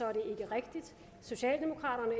rigtigt socialdemokraterne og